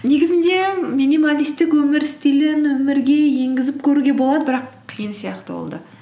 негізінде минималистік өмір стилін өмірге енгізіп көруге болады бірақ қиын сияқты ол да